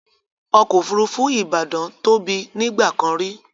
ọ̀kọ̀ ofúrúfú Ibadan tó bí nígbàkàn rí